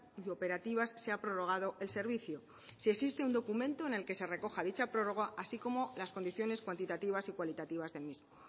y operativas se ha prorrogado el servicio si existe un documento en el que se recoja dicha prórroga así como las condiciones cuantitativas y cualitativas del mismo